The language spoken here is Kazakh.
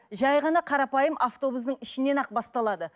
жай ғана қарапайым автобустың ішінен ақ басталады